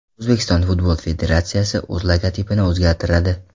O‘zbekiston futbol federatsiyasi o‘z logotipini o‘zgartiradi.